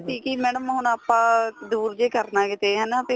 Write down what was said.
ਸੀ ਕੀ madam ਹੁਣ ਆਪਾਂ ਦੂਰ ਜੇ ਕਰਨਾ ਕਿੱਥੇ ਹਨਾ